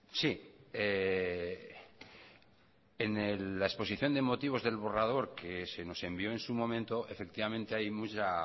sí en la exposición de motivos del borrador que se nos envió en su momento efectivamente hay mucha